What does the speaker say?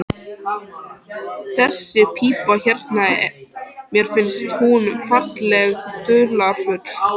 Þessi pípa hérna. mér finnst hún ferlega dularfull.